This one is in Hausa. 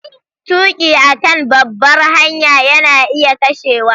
Tuki a kan babbar hanya yana iya kashewa.